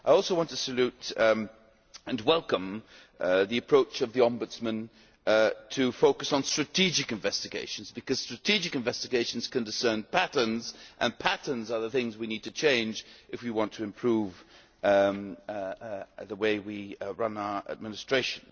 I also want to salute and welcome the approach of the Ombudsman to focus on strategic investigations, because strategic investigations can discern patterns, and patterns are the things we need to change if we want to improve the way we run our administration.